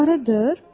Arıdır?